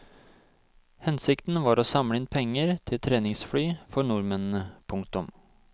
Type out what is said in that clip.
Hensikten var å samle inn penger til treningsfly for nordmennene. punktum